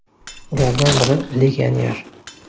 Ulardan biri legioner.